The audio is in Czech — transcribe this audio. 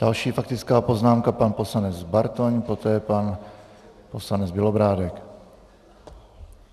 Další faktická poznámka, pan poslanec Bartoň, poté pan poslanec Bělobrádek.